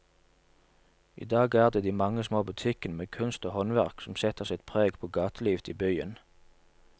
I dag er det de mange små butikkene med kunst og håndverk som setter sitt preg på gatelivet i byen.